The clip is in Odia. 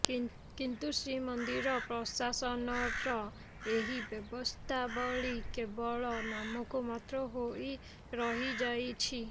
କିନ୍ତୁ ଶ୍ରୀମନ୍ଦିର ପ୍ରଶାସନର ଏହି ବ୍ୟବସ୍ଥାବଳୀ କେବଳ ନାମକୁ ମାତ୍ର ହୋଇ ରହିଯାଇଛି